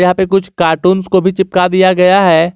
कुछ कार्टून को भी चिपका दिया गया है।